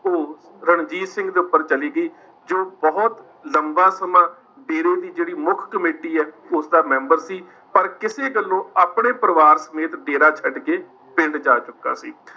ਉਹ ਰਣਜੀਤ ਸਿੰਘ ਦੇ ਉੱਪਰ ਚਲੀ ਗਈ, ਜੋ ਬਹੁਤ ਲੰਬਾ ਸਮਾਂ ਡੇਰੇ ਦੀ ਜਿਹੜੀ ਮੁੱਖ ਕਮੇਟੀ ਹੈ ਉਸਦਾ ਮੈਂਬਰ ਸੀ, ਪਰ ਕਿਸੇ ਗੱਲੋਂ ਆਪਣੇ ਪਰਿਵਾਰ ਸਮੇਤ ਡੇਰਾ ਛੱਡ ਕੇ ਪਿੰਡ ਜਾ ਚੁੱਕਾ ਸੀ।